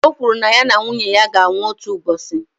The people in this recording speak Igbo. Ọ kwụrụ na ya na nwunye ya ga-anwụ otu ụbọchị.